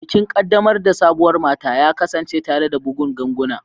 Bikin kaddamar da sabuwar mata ya kasance tare da bugun ganguna.